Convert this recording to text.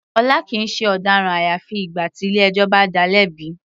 Ọlá kìí ṣe ọ̀daràn àyàfi ìgbà tí ilé ẹjọ́ bá dáa lẹ́bi.